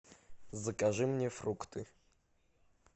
закажи мне фрукты